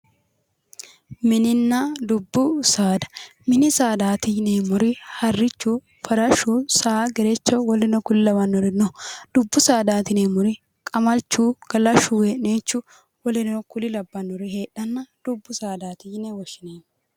Minninna dubbu saada:-mini saadaati yineemmori harichu farashu saa gerecho woluno kuri lawannori no dubbu saadaati yineemmori qamalichu galashu wee'niichu woleno kuri labanori heedhanna dubbu saadaati yine wishinanni